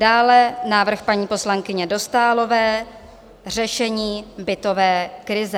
Dále návrh paní poslankyně Dostálové - Řešení bytové krize.